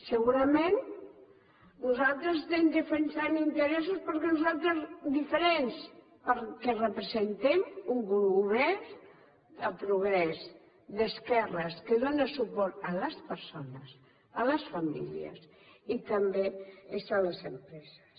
segurament nosaltres estem defensant interessos diferents perquè representem un govern de progrés d’esquerres que dóna suport a les persones a les famílies i també a les empreses